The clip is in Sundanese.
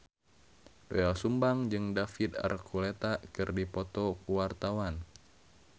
Doel Sumbang jeung David Archuletta keur dipoto ku wartawan